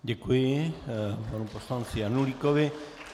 Děkuji panu poslanci Janulíkovi.